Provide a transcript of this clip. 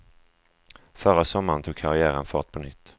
Förra sommaren tog karriären fart på nytt.